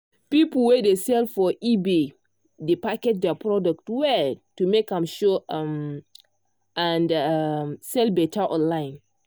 people wey dey sell for ebay dey package their product well to make am show um and um sell better online.